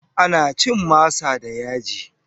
Ana cin masa da yaji.